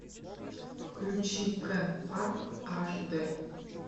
включи кен парк аш дэ